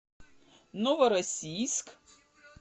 новороссийск